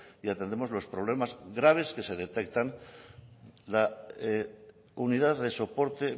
y atendemos los problemas graves que se detectan la unidad de soporte